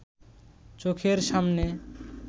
চোখের সামনে